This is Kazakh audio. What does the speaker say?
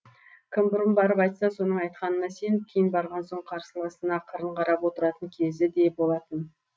кім бұрын барып айтса соның айтқанына сеніп кейін барған оның қарсыласына қырын қарап отыратын кезі де болатын